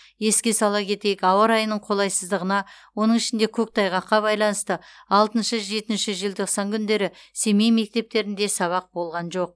еске сала кетейік ауа райының қолайсыздығына оның ішінде көктайғаққа байланысты алтыншы жетінші желтоқсан күндері семей мектептерінде сабақ болған жоқ